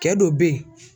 Kɛ dɔ bɛ ye